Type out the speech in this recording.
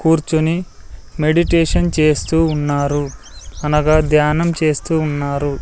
కూర్చుని మెడిటేషన్ చేస్తూ ఉన్నారు అనగా ధ్యానం చేస్తూ ఉన్నారు.